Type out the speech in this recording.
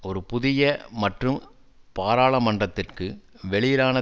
ஒரு புதிய மற்றும் பாராளுமன்றத்திற்கு வெளியிலான